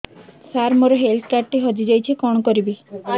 ସାର ମୋର health card ଟି ହଜି ଯାଇଛି କଣ କରିବି